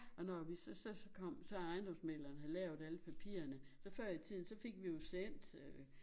Og når vi så så kom så ejendomsmægleren havde lavet alle papirerne så før i tiden så fik vi jo sendt øh